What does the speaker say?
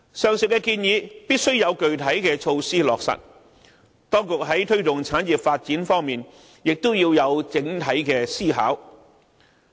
上述建議必須有具體措施來落實，當局在推廣產業發展方面也須作出整體考慮。